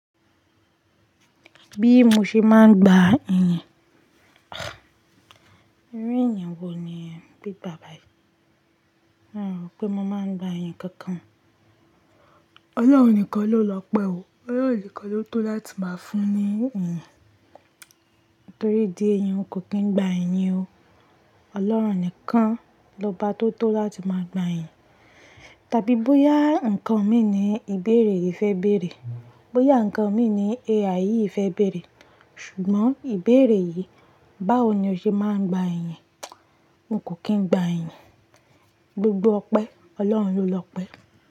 Bí mo ṣe máa ń gba ẹ̀yìn. Irú ẹ̀yìn wo ni ń gbé bàbá yìí? Hun rọ̀ pé mo máa ń gba ẹ̀yìn kankan o. Ọlọ́run nìkan ló lọ́pẹ́ o. Ọlọ́run nìkan ló tó láti máa fún ní ẹ̀yìn. Torí idi ẹ̀yì n kò kín ń gba ẹ̀yìn o. Ọlọ́run nìkan lọba tó tó láti máa gba ẹ̀yìn. Tàbí bóyá nǹkan mi ni ìbéèrè yìí fẹ́ bèèrè. Bóyà nǹkan mi ni AI yìí fẹ́ bèèrè. Ṣùgbọ́n ìbéèrè yìí, báwo ni o ṣe máa ń gba ẹ̀yìn? N kò kín ń gba ẹ̀yìn. Gbogbo ọpẹ́, Ọlọ́run ló lọ́pẹ́